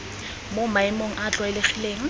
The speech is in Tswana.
mo maemong a a tlwaelegileng